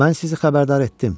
Mən sizi xəbərdar etdim.